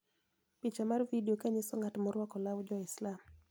Picha mar vidio kanyiso ng'at morwako law Jo-Islam,